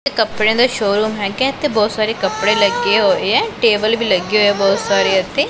ਇਹ ਕੱਪੜਿਆਂ ਦਾ ਸ਼ੋਰੂਮ ਹੈਗਾ ਇਥੇ ਬਹੁਤ ਸਾਰੇ ਕੱਪੜੇ ਲੱਗੇ ਹੋਏ ਆ ਟੇਬਲ ਵੀ ਲੱਗੇ ਹੋਏ ਆ ਬਹੁਤ ਸਾਰੇ ਇਥੇ।